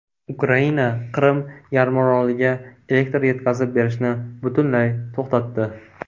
Ukraina Qrim yarimoroliga elektr yetkazib berishni butunlay to‘xtatdi.